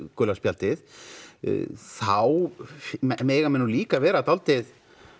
gula spjaldið þá mega menn nú líka vera dálítið